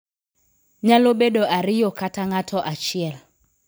Nyalo bedo ariyo kata ng'ato achiel.